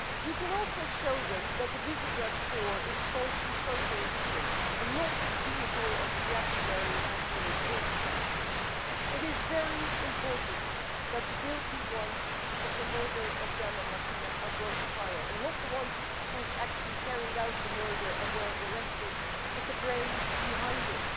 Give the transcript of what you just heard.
You can also show them that the Visegrád Four is staunchly pro European and not the vehicle of reactionary nationalist autocrats. It is very important that those guilty of the murder of Ján and Martina are brought to trial not just those who actually carried out the murder and were arrested, but the brains behind